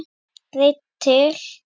Breyta til.